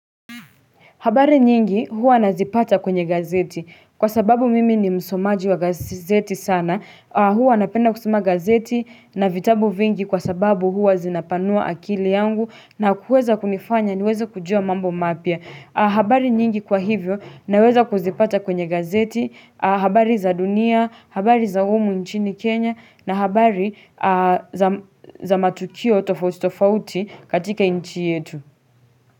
Habari nyingi huwa nazipata kwenye gazeti kwa sababu mimi ni msomaji wa gazeti sana huwa napenda kusoma gazeti na vitabu vingi kwa sababu huwa zinapanua akili yangu na kuweza kunifanya niweza kujua mambo mapya habari nyingi kwa hivyo naweza kuzipata kwenye gazeti habari za dunia habari za humu nchini Kenya na habari za matukio tofauti katika nchi yetu.